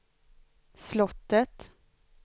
slottet